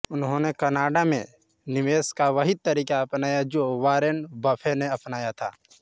उन्होंने कनाडा में निवेश का वही तरीक़ा अपनाया है जो वॉरेन बफ़े ने अपनाया था